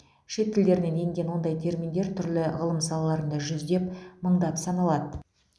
шет тілдерінен енген ондай терминдер түрлі ғылым салаларында жүздеп мыңдап саналады